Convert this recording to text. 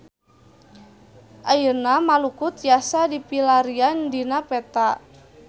Ayeuna Maluku tiasa dipilarian dina peta